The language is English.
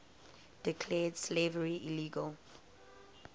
declared slavery illegal